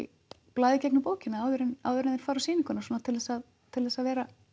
blaði í gegnum bókina áður en áður en þeir fara á sýninguna til að til að vera